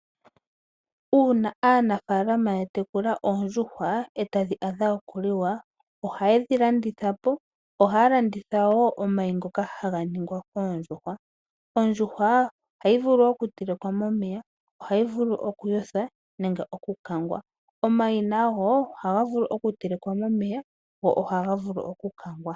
Uuna aanafalama ya tekula oondjuhwa e tadhi adha okuliwa ohaye dhi landitha po, ohaya landitha wo omayi ngoka haga ningwa koondjuhwa. Ondjuhwa ohayi vulu okutelekwa momeya, ohayi vulu okuyothwa nenge okukangwa. Omayi nago ohaga vulu okutelekwa momeya noshowo okukangwa.